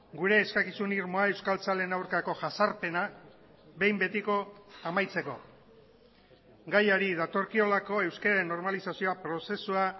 gure eskakizun irmoa euskaltzaleen aurkako jazarpena behin betiko amaitzeko gaiari datorkiolako euskararen normalizazioa prozesua